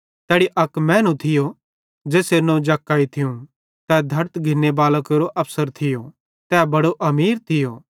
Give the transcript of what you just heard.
तैड़ी अक मैनू थियो ज़ेसेरू नवं जक्कई थियूं तै धड़त घिन्ने बालां केरो अफसर थियो तै बड़ो अमीर थियो